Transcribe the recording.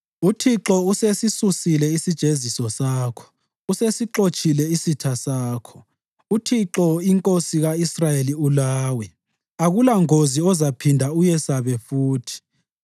UThixo usesisusile isijeziso sakho, usesixotshile isitha sakho. UThixo, iNkosi ka-Israyeli, ulawe; akulangozi ozaphinda uyesabe futhi.